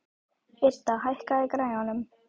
Idda, hækkaðu í græjunum.